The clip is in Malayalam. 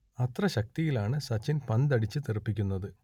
അത്ര ശക്തിയിലാണ് സച്ചിൻ പന്തടിച്ച് തെറിപ്പിക്കുന്നത്